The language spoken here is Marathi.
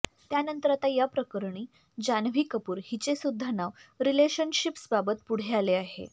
त्यानंतर आता या प्रकरणी जान्हवी कपूर हिचे सुद्धा नाव रिलेशनशिप्सबाबत पुढे आले आहे